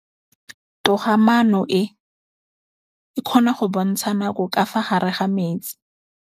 Toga-maanô e, e kgona go bontsha nakô ka fa gare ga metsi.